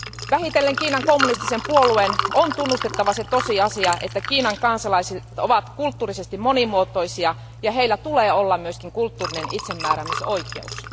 Vähitellen Kiinan kommunistisen puolueen on tunnustettava se tosiasia, että Kiinan kansalaiset ovat kulttuurisesti monimuotoisia ja heillä tulee olla myös kulttuurinen itsemääräämisoikeus.